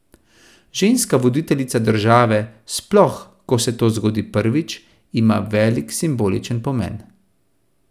Ženska voditeljica države, sploh, ko se to zgodi prvič, ima velik simboličen pomen.